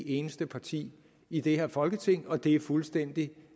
eneste parti i det her folketing og det er fuldstændig